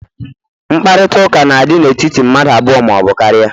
Mkparịta ụka na dị n'etiti mmadụ abụọ ma ọ bụ karịa